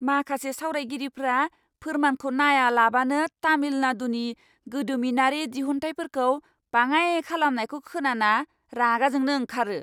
माखासे सावरायगिरिफोरा फोरमानखौ नायालाबानो तामिलनाडुनि गोदोमिनारि दिहुनथाइफोरखौ बाङाइ खालामनायखौ खोनाना रागा जोंनो ओंखारो।